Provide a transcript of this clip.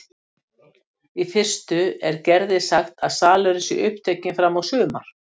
Í fyrstu er Gerði sagt að salurinn sé upptekinn fram á sumar.